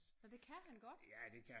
Nå det kan han godt?